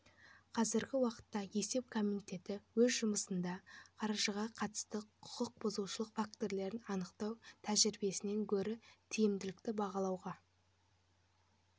қазіргі уақытта есеп комитеті өз жұмысында қаржыға қатысты құқық бұзушылық фактілерін анықтау тәжірибесінен гөрі тиімділікті бағалауға